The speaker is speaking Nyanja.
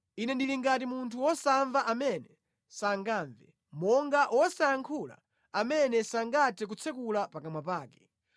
Ine ndili ngati munthu wosamva amene sangamve, monga wosayankhula, amene sangathe kutsekula pakamwa pake;